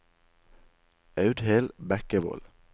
Audhild Bekkevold